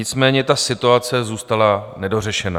Nicméně ta situace zůstala nedořešena.